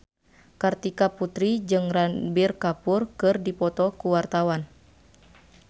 Kartika Putri jeung Ranbir Kapoor keur dipoto ku wartawan